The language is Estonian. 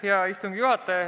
Hea istungi juhataja!